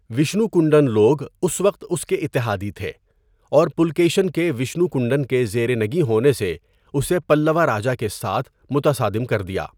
وشنو کنڈن لوگ اس وقت اس کے اتحادی تھے، اور پُلکیشن کے وشنو کنڈن کے زیر نگیں ہونے نے اسے پلّوا راجا کے ساتھ متصادم کردیا۔